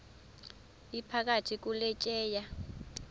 iphakathi kule tyeya